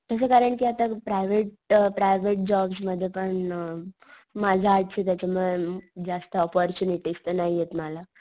तस कारण कि आता प्रायव्हेट जॉब्स मध्ये पण अ माझं आर्ट्स आहे त्याच्या मुळे अ जास्त ऑपॉर्च्युनिटीस नाहीयेत मला.